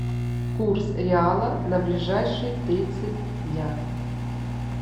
курс реала на ближайшие тридцать дня